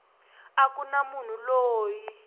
a ku na munhu loyi